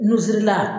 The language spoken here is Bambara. Nusirila